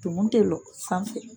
Tumun tɛ lɔ sanfɛ.